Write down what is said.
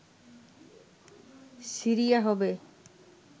Syria হবে